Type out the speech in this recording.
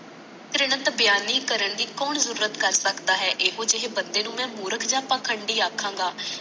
ਪੇ੍ਰਯਣ ਬਿਆਨੀ ਕਰਨ ਦੀ ਕੌਣ ਜੁਰਅਤ ਕਰ ਸਕਦਾ ਹੈ ਇਹੋ ਜਿਹੇ ਬੰਦੇ ਨੂੰ ਮੈ ਮੂਰਖ ਯ ਪਾਖਾਡੀ ਆਖਾਗਾ